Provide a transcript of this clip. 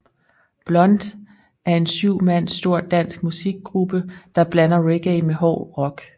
Blunt er en syv mand stor dansk musikgruppe der blander reggae med hård rock